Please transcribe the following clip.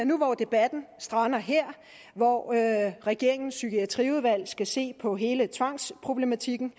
nu hvor debatten strander her hvor regeringen psykiatriudvalg skal se på hele tvangsproblematikken